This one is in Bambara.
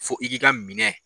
Fo i k'i ka minɛn